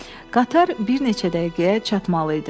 Qatar bir neçə dəqiqəyə çatmalı idi.